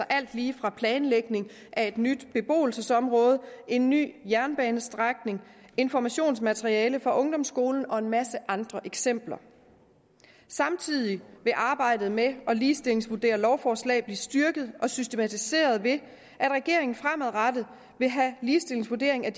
alt lige fra planlægning af et nyt beboelsesområde en ny jernbanestrækning informationsmateriale for ungdomsskoler og en masse andre eksempler samtidig vil arbejdet med at ligestillingsvurdere lovforslag blive styrket og systematiseret ved at regeringen fremadrettet vil have ligestillingsvurdering af